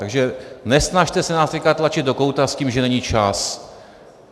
Takže nesnažte se nás teď tlačit do kouta s tím, že není čas.